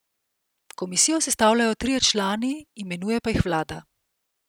Komisijo sestavljajo trije člani, imenuje pa jih vlada.